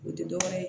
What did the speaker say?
O tɛ dɔwɛrɛ ye